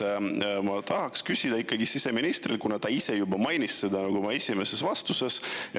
Ma tahaks siseministrilt ikkagi küsida, kuna ta ise juba mainis seda oma esimeses vastuses.